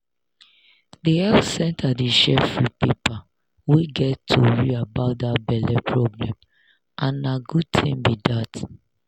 the health center dey share free paper wey get tory about that belle problem and na good thing be that